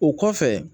O kɔfɛ